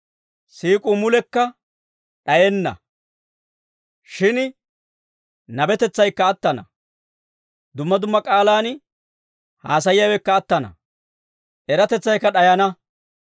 Siik'uu mulekka d'ayenna. Shin nabetetsaykka attana. Dumma dumma k'aalaan haasayiyaawekka attana. Eratetsaykka d'ayana.